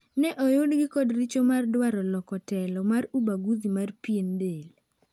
Ne oyudgi kod richo mar dwaro loko telo mar ubaguzi mar pien del.